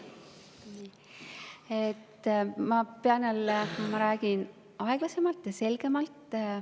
Ma pean jälle aeglasemalt ja selgemalt rääkima.